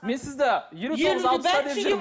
мен сізді елу тоғыз алпыста деп жүрмін